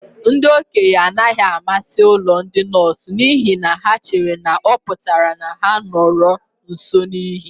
Ndị okenye anaghị amasị ụlọ ndị nọọsụ n'ihi na ha chere na ọ pụtara na ha nọru nso n'ili.